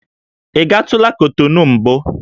Ị gatụla Kotonu mbụ?